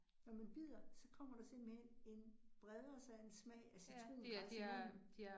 Når man bider, så kommer der simpelthen en, breder sig en smag af citrongræs i munden